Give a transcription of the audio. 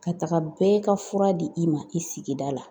Ka taga bɛɛ ka fura di i ma i sigida la